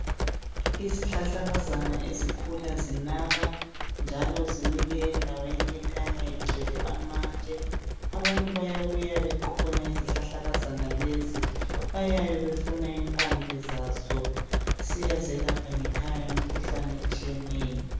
Izihlahlakazana ezikhula zinaba njalo zimile endaweni ekhanya igcwele amatshe, abantu bayabuya beqhuphuna izihlahlakazana lezi bayabe befua impande zazo zisiyazelapha ngekhaya imikhuhlane ezitshiyeneyo.